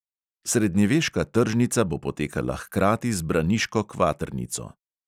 Srednjeveška tržnica bo potekala hkrati z braniško kvatrnico.